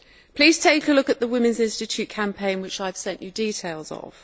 Please take a look at the Women's Institute campaign, which I have sent you details of.